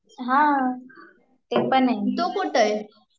हा, ते पण आहे